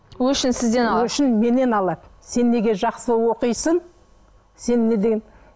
өшін сізден алады өшін менен алады сен неге жақсы оқисың сен неде